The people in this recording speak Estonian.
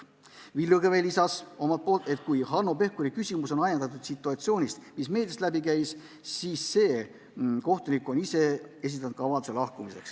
Villu Kõve lisas omalt poolt, et kui Hanno Pevkuri küsimus on ajendatud situatsioonist, mis meediast läbi käis, siis see kohtunik on ise esitanud lahkumisavalduse.